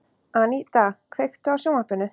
Aníta, kveiktu á sjónvarpinu.